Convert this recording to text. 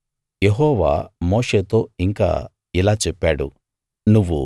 యెహోవా మోషేతో ఇంకా ఇలా చెప్పాడు